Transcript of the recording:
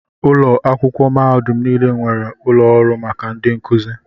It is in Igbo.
Ụlọ akwụkwọ mahadum niile nwere ụlọ ọrụ maka ndị nkuzi.